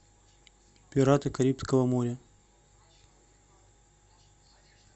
пираты карибского моря